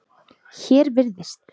Hér virðist